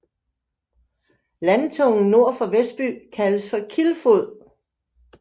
Landtungen nord for Vesby kaldes for Kilfod